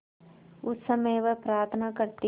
उस समय वह प्रार्थना करती